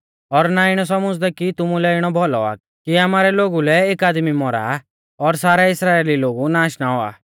और ना इणौ सौमझ़दै कि तुमुलै इणौ भौलौ आ कि आमारै लोगु लै एक आदमी मौरा और सारै इस्राइली लोगु नाश ना औआ